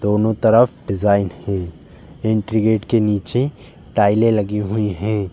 दोनों तरफ डिजाइन है। एंट्री गेट के नीचे टाइलें लगी हुई हैं।